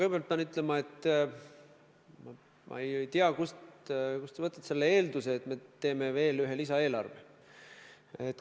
Ma pean kõigepealt ütlema, et ma ei tea, kust te võtate selle eelduse, et me teeme veel ühe lisaeelarve.